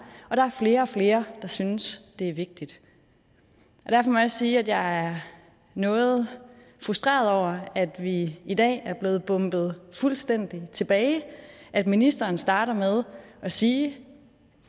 og der er flere og flere der synes det er vigtigt derfor må jeg også sige at jeg er noget frustreret over at vi i dag er blevet bombet fuldstændig tilbage at ministeren starter med at sige